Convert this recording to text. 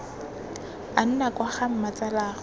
a nna kwa ga mmatsalaagwe